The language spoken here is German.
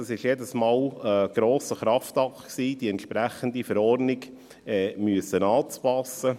Das war jedes Mal ein grosser Kraftakt, die entsprechende Verordnung anpassen zu müssen.